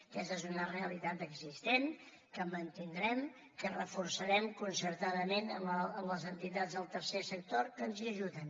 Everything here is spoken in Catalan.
aquesta és una realitat existent que mantindrem que reforçarem concertadament amb les entitats del tercer sector que ens hi ajuden